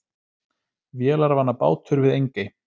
Vélarvana bátur við Engey